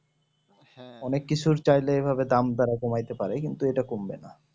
অনেক কিছু তারা চাইলে দাম তারা কমাইতে পারে কিন্তু তারা করবে না